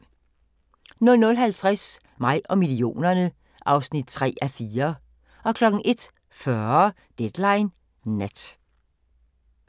00:50: Mig og millionerne (3:4) 01:40: Deadline Nat